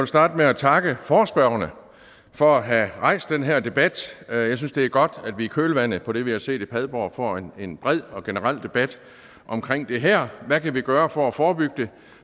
starte med at takke forespørgerne for at have rejst den her debat jeg synes det er godt at vi i kølvandet på det vi har set i padborg får en bred og generel debat omkring det her hvad kan vi gøre for at forebygge det